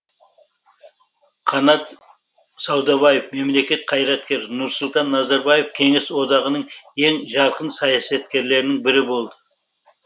қанат саудабаев мемлекет қайраткері нұрсұлтан назарбаев кеңес одағының ең жарқын саясаткерлерінің бірі болды